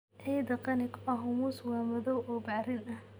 Ciidda qani ku ah humus waa madow oo bacrin ah.